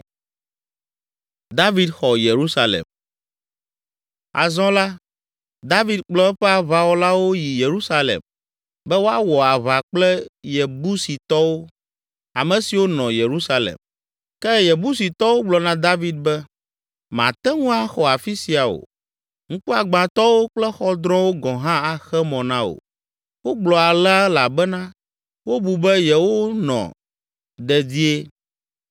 Azɔ la, David kplɔ eƒe aʋawɔlawo yi Yerusalem be woawɔ aʋa kple Yebusitɔwo, ame siwo nɔ Yerusalem. Ke Yebusitɔwo gblɔ na David be, “Màte ŋu axɔ afi sia o, ŋkuagbãtɔwo kple xɔdrɔ̃wo gɔ̃ hã axe mɔ na wò!” Wogblɔ alea elabena wobu be yewonɔ dedie.